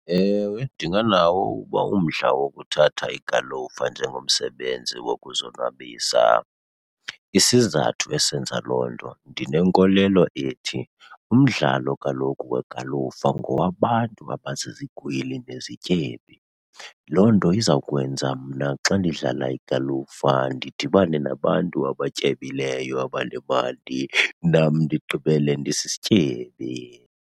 Ewe, ndinganawo uba umdla wokuthatha igalufa njengomsebenzi wokuzonwabisa. Isizathu esenza loo nto ndinenkolelo ethi umdlalo kaloku wegalufa ngowabantu abazizigwili nezityebi. Loo nto iza kwenza mna xa ndidlala igalufa ndidibane nabantu abatyebileyo abanemali nam ndigqibele ndisisityebi.